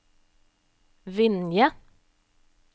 Vinje